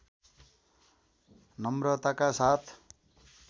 नम्रताका साथ